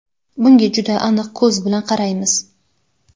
Bunga juda aniq ko‘z bilan qaraymiz.